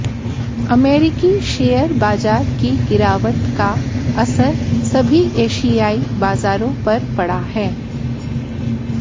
अमेरिकी शेयर बाजार की गिरावट का असर सभी एशियाई बाजारों पर पड़ा है